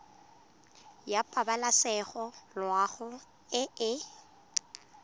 ya pabalesego loago e e